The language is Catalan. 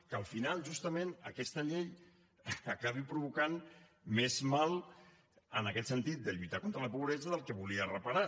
que al final justament aquesta llei acabi provocant més mal en aquest sentit de lluitar contra la pobresa del que volia reparar